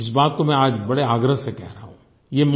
इस बात को मैं आज बड़े आग्रह से कह रहा हूँ